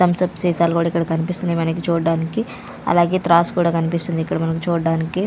Thums Up సీసాలు కూడా ఇక్కడ కనిపిస్తున్నాయి వెనక చూడ్డానికి అలాగే త్రాసు కూడా కనిపిస్తుంది ఇక్కడ మనకు చూడడానికి.